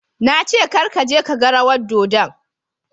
Na ce Kar ka je ka gan rawan dodon.